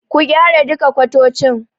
Ku gyara duka kwatocin.